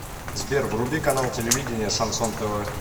сбер вруби канал телевидения шансон тв